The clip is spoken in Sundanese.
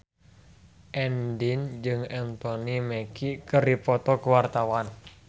Andien jeung Anthony Mackie keur dipoto ku wartawan